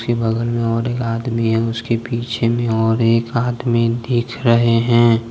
के बगल में और एक आदमी है उसके पीछे में और एक आदमी दीख रहे हैं।